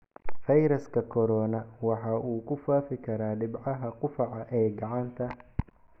Fayraska corona waxa uu ku faafi karaa dhibcaha qufaca ee gacanta.